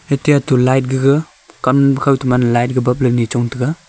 eati atu light gega kam khow thoma light ni chong tega.